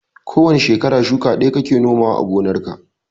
Ko wane shekara shuka ɗaya kake nomawa a gonarka.